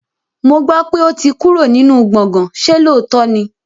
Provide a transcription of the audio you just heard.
Mo gbọ́ pé ó ti kúrò nínú gbọ̀gán, ṣe lóòótọ́ ni?